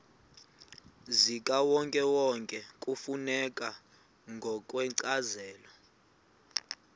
zikawonkewonke kufuneka ngokwencazelo